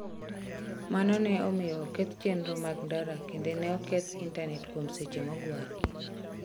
Mano ne omiyo oketh chenro mag ndara kendo ne oketh Intanet kuom seche mogwaro.